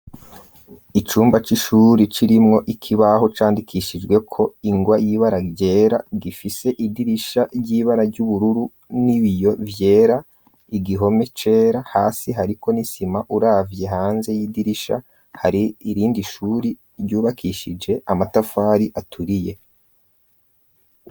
Icumba c'ishuri c'irimwo ikibaho candikishijwe ko ingwa yibara ryera gifise idirisha ry'ibara ry'ubururu n'i biyo vyera igihome cera hasi hariko nisima uravye hanze y'idirisha hari irindi shuri ryubakishije amatafari aturiye.